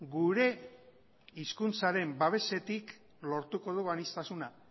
gure hizkuntzaren babesetik lortuko dugu aniztasuna